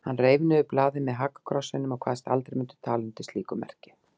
Hann reif niður blaðið með hakakrossinum og kvaðst aldrei mundu tala undir slíku merki.